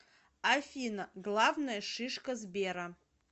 афина главная шишка сбера